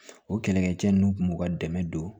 O kɛlɛkɛcɛ ninnu kun b'u ka dɛmɛ don